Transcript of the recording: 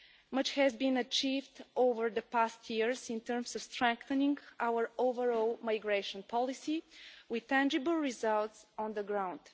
Much has been achieved over the past years in terms of strengthening our overall migration policy, with tangible results on the ground.